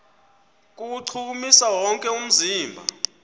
kuwuchukumisa wonke umzimba